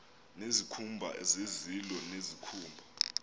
nezikhumba zezilo nezikhumba